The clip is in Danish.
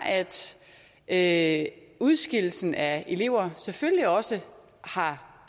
at udskillelsen af elever selvfølgelig også har